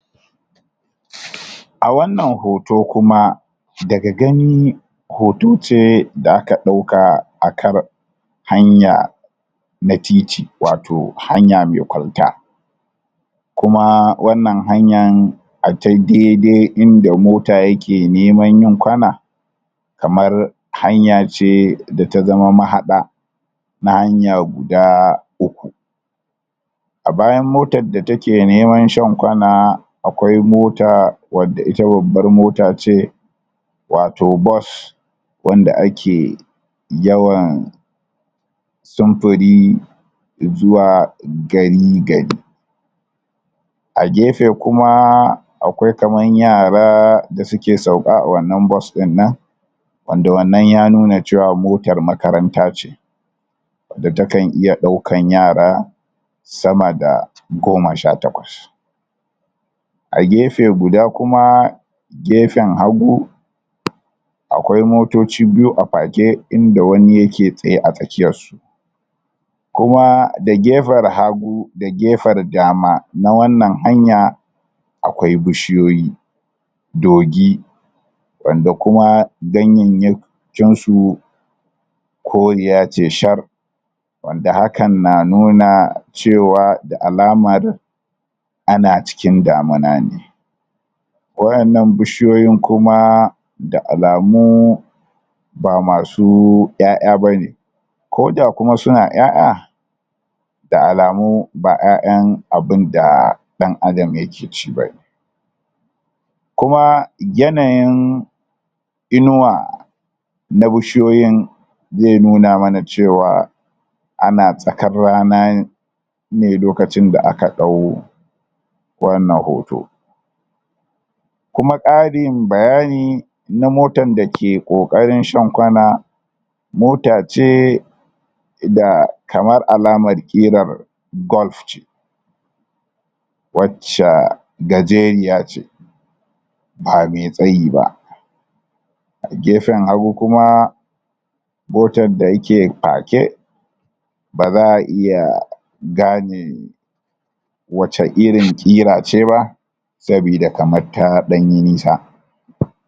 a wannan hoto kuma daga gani hoto ce da aka dauka akar hanya na titi wato hanya me kwalta kuma wannan hanyan a ta daidai inda mota yake neman yin kwana kamar hanya ce da ta zama mahada na hanya guda uku a bayan motan da take neman shan kwana akwai mota wadda ita babbar motace wato bus wanda ake yawan sumfuri izuwa gari gari a gefe kumaa akwai kamar yaraa da suke sauka a wannan bus din nan wanda wannan ya nuna cewa motan makaranta ce wanda takan iya daukan yara sama da goma sha takwas a gefe guda kuma gefen hagu? akwai motoci biyu a pake inda wani yake tsaye a tsakiyarsu kuma da gefer hagu da gefar dama na wannan hanya akwai bishiyoyi dogi wanda kuma ganyeyya kinsu koriya ce shar wand ahakan na nuna cewa da alamar ana cikin damuna ne wa'ennan bishiyoyin kuma da alamuu ba masuu 'ya'ya bane koda kuma suna 'ya'ya da alamuu ba 'ya'yan abun da dan adam yake ci bane kuma yanayin inuwa na bishiyoyin ze nuna mana cewa ana tsakar rana ne lokacin da aka dau wannan hoto kuma kaarin bayani na motan da ke kokarin shan kwana mota ce da kamar alamar qirar golf ce wacca gajeriya ce ba me tsayi ba a gefen hagu kuma motan da yake pake baza a iya gane wacce irin qira ce ba sabida kamar ta danyi nisa?